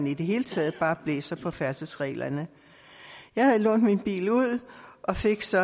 i det hele taget bare blæser på færdselsreglerne jeg havde lånt min bil ud og fik så